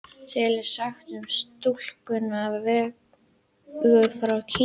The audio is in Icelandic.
Til er saga um stúlkuna Vegu frá Kína.